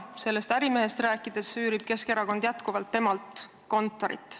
Sellest ärimehest rääkides võib öelda, et Keskerakond üürib jätkuvalt temalt kontorit.